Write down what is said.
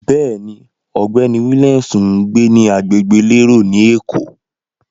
Bẹ́ẹ̀ni, ọ̀gbẹ́ni Williams ń gbé ní agbègbè elérò ni Èkó.